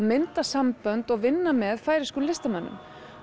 mynda sambönd og vinna með færeyskum listamönnum